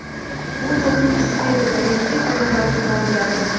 U to‘pning ustida edi, tabiiyki, oyoqlari ko‘tarilgandi.